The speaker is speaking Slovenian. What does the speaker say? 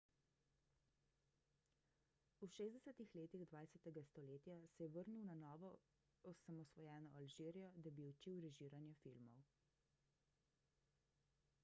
v 60 letih 20 stoletja se je vrnil v na novo osamosvojeno alžirijo da bi učil režiranje filmov